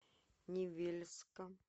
невельска